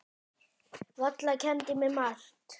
Valla kenndi mér margt.